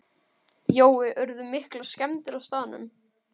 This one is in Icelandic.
Jói, urðu miklar skemmdir á staðnum?